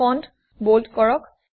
font bold কৰক